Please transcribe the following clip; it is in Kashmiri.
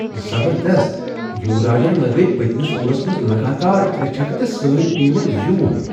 زبردست! یوراجن لگٲوۍ پٔتۍمِس اوورس منٛز لگاتار ترٛےٚ چھکہٕ تہٕ سٲنۍ ٹیمن زیون۔